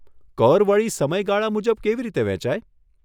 કર વળી સમય ગાળા મુજબ કેવી રીતે વહેંચાય?